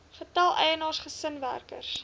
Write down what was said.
getal eienaars gesinswerkers